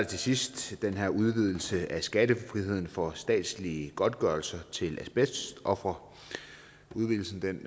til sidst den her udvidelse af skattefriheden for statslige godtgørelser til asbestofre udvidelsen